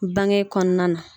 Bange kɔnɔna na.